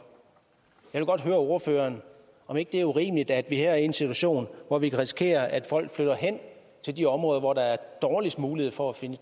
jeg vil godt høre ordføreren om ikke det er urimeligt at vi her er i en situation hvor vi kan risikere at folk flytter hen til de områder hvor der er dårligst mulighed for at finde